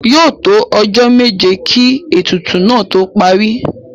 Yóò tó ọjọ́ méje kí ètùtù náà tó parí.